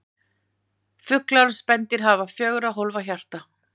Fuglar og spendýr hafa fjögurra hólfa hjarta.